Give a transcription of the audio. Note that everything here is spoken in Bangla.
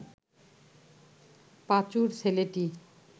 পাঁচুর ছেলেটি